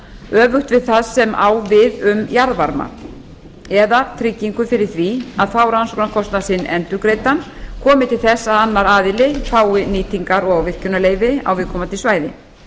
öfugt við það sem á við um jarðvarma eða tryggingu fyrir því að fá rannsóknarkostnað sinn endurgreiddan komi til þess að annar aðili fái nýtingar og virkjunarleyfi á viðkomandi svæði